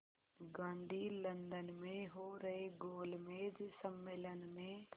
Gandhi London में हो रहे गोलमेज़ सम्मेलन में